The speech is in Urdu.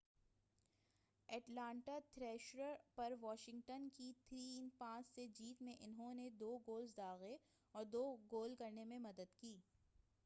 اٹلانٹا تھریشرز پر واشنگٹن کی 5-3 سے جیت میں انہوں نے 2 گولز داغے اور 2 گول کرنے میں مدد کی